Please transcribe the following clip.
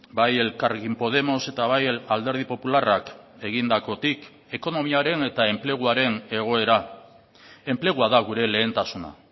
bai elkarrekin podemos eta bai alderdi popularrak egindakotik ekonomiaren eta enpleguaren egoera enplegua da gure lehentasuna